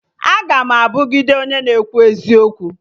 Aga m abugide onye na-ekwu eziokwu